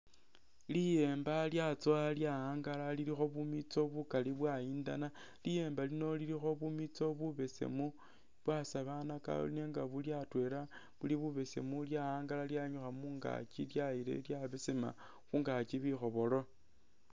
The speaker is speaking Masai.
Liyemba lyatsowa lyawangala lilikho bumitso bukali bwayindana, liyemba lino lilikho bumitso bubesemu bwasalanaka nenga buli atwela buli bubesemu lyawangala lyayinyukha mungaki lyayilayo lyabesema khungaki bikhobolo